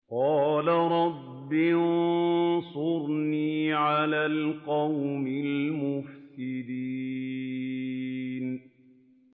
قَالَ رَبِّ انصُرْنِي عَلَى الْقَوْمِ الْمُفْسِدِينَ